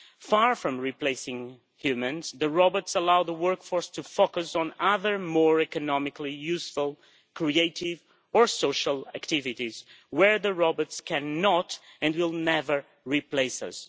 Far from replacing humans, robots allow the workforce to focus on other more economically useful, creative or social activities where robots cannot and will never replace us.